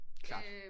Klart